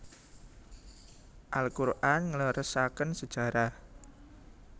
Al Qur an ngleresaken sejarah